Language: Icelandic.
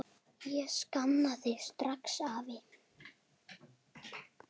Ég sakna þín strax, afi.